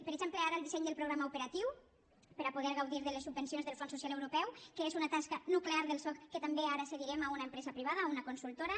per exemple ara el disseny del programa operatiu per a poder gaudir de les subvencions del fons social europeu que és una tasca nuclear del soc que també ara cedirem a una empresa privada a una consultora